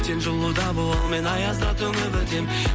сен жылуда бол ал мен аязда тонып өтем